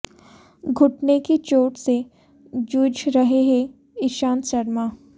घुटने की चोट से जूझ रहे हैं ईशांत शर्मा